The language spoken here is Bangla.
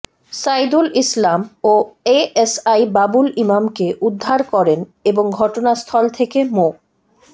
সাইদুল ইসলাম ও এএসআই বাবুল ইমামকে উদ্ধার করেন এবং ঘটনাস্থল থেকে মো